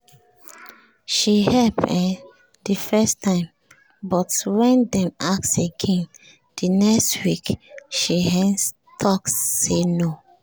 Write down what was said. she help um the first time but when dem ask again the next week she um talk say no